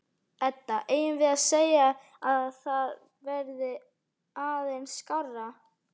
Edda: Eigum við að segja að það verði aðeins skárra?